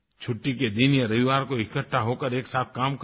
छुट्टी के दिन या रविवार को इकठ्ठा हो कर एकसाथ काम करें